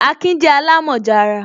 Akin je alamoja ara